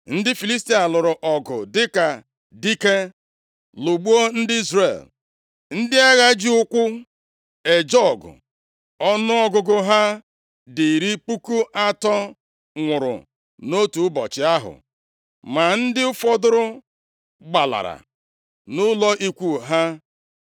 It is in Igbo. Ndị Filistia lụrụ ọgụ dịka dike, lụgbuo ndị Izrel. Ndị agha ji ụkwụ eje ọgụ ọnụọgụgụ ha dị iri puku atọ nwụrụ nʼotu ụbọchị ahụ. Ma ndị fọdụrụ gbalara nʼụlọ ikwu ha.